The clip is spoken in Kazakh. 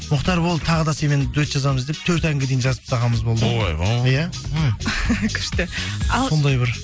мұхтар болды тағы да сенімен дуэт жазамыз деп төрт әнге дейін жазып тастағанымыз болды ойбой иә күшті ал сондай бір